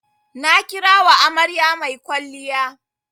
Na kira wa amarya mai kwalliya.